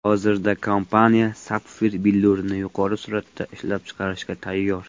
Hozirda kompaniya sapfir billurini yuqori suratda ishlab chiqarishga tayyor.